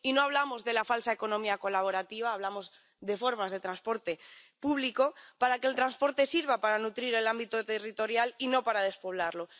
Y no hablamos de la falsa economía colaborativa, hablamos de formas de transporte público, para que el transporte sirva para nutrir el ámbito territorial y no para despoblarlo.